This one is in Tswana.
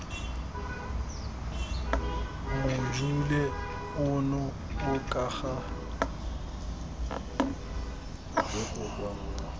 mojule ono o ka ga